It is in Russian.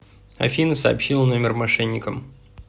афина сообщила номер мошенникам